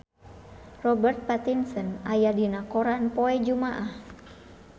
Robert Pattinson aya dina koran poe Jumaah